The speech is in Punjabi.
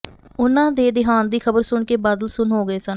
ਉਨ੍ਹਾਂ ਦੇ ਦਿਹਾਂਤ ਦੀ ਖਬਰ ਸੁਣ ਕੇ ਬਾਦਲ ਸੁੰਨ ਹੋ ਗਏ ਸਨ